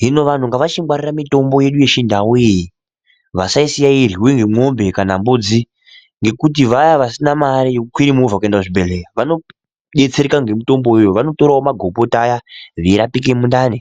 hino vanhu ngavachingwarira mitombo yedu yechindau iyi vasaisiya yeiryiwe nemombe kana mbudzi ngekuti vaya vasina mari yekukwire movha kuenda kuzvibhehleya vanodetsereka ngemutombo uyoyo . Vanotorawo magomboti aya veirapike mundani.